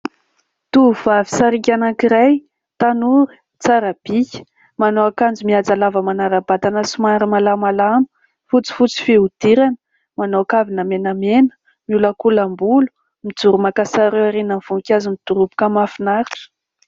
Tovovavy sarika anankiray, tanora, tsara bika, manao ankanjo mihaja lava manaram-batana somary malamalama, fotsifotsy fihodirana, manao kavina menamena, miolakolam-bolo, mijoro maka sary eo aorian'ny ny voninkazo midoroboka mahafinaritra.